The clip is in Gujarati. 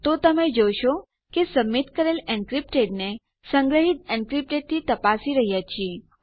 તો તમે જોશો કે સબમીટ કરેલ એન્ક્રિપ્ટેડ ને સંગ્રહીત એન્ક્રિપ્ટેડ થી તપાસી રહ્યા છીએ